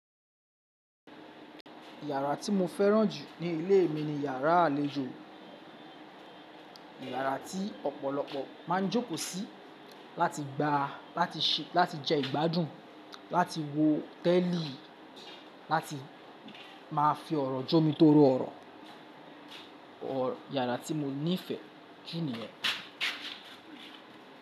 Yàrá tí mo fẹ́ràn jù ní ilé mi ni yàrá àlejò. Yàrá tí ọ̀pọ̀lọpọ̀ ma ń jókòó sí láti gba, láti ṣé, láti jẹ ìgbádùn, láti wo tẹ́lí, láti máa fi ọ̀rọ̀ jó mi toro ọ̀rọ̀. Yàrá tí mo nífẹ̀ẹ́ jù níyẹn.